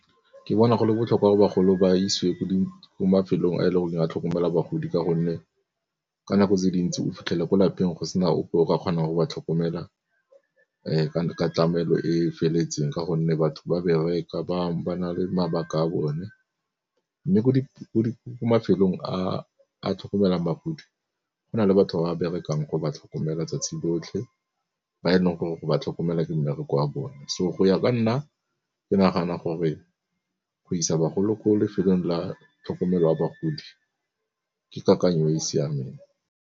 Ke bona go le botlhokwa gore bagolo ba isiwe ko mafelong a e leng gore a tlhokomela bagodi ka gonne, ka nako tse dintsi o fitlhele ko lapeng go se na ope o ka kgonang go ba tlhokomela ka tlamelo e feletseng ka gonne batho ba bereka ba na le mabaka a bone. Mme ko mafelong a a tlhokomelang bagodi go na le batho ba berekang go ba tlhokomela tsatsi lotlhe, ba e leng gore go ba tlhokomela ke mmereko wa bone. So go ya ka nna ke nagana gore go isa bagolo ko lefelong la tlhokomelo ya bagodi ke kakanyo e e siameng.